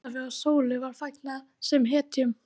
Ólafi og Sólu var fagnað sem hetjum.